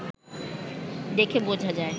দেখে বোঝা যায়